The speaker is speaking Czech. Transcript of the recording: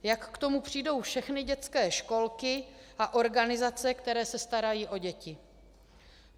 Jak k tomu přijdou všechny dětské školky a organizace, které se starají o děti?